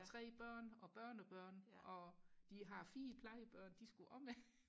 og tre børn og børnebørn og de har fire plejebørn de skulle også med